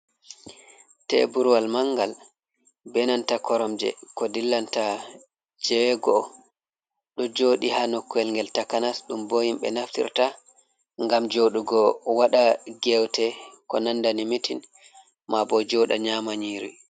Teburwal mangal benanta koromje ko dillanta jego, ɗo joɗi ha nokkowel ngel takanas, ɗum bo himɓɓe naftirta ngam joɗugo waɗa gewte ko nandani mitin, ma bo joɗa nyama nyiri.